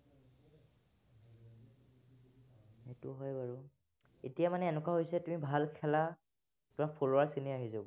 সেইটো হয় বাৰু। এতিয়া মানে এনেকুৱা হৈছে, তুমি ভাল খেলা, তোমাৰ follower খিনি আহি যাব।